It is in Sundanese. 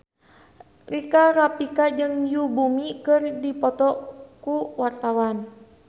Rika Rafika jeung Yoon Bomi keur dipoto ku wartawan